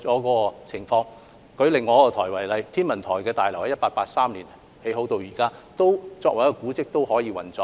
以另一個部門天文台為例，天文台大樓由1883年落成至今，作為一個古蹟仍然可以運作。